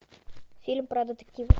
фильм про детектив